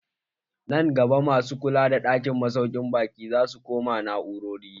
Nan gaba masu kula da ɗakin masaukin baƙi zasu koma na'urori.